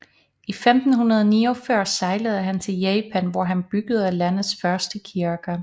I 1549 sejlede han til Japan hvor han byggede landets første kirke